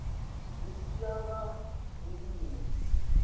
zwi tshi ya nga vhuimo